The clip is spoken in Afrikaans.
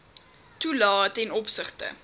toelae ten opsigte